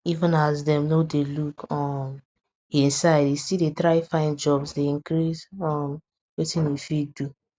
even as dem no dey look um hin side e still dey try find jobs dey increase um wetin e fit do